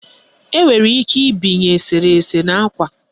Enwere ike ibinye eserese n'ákwà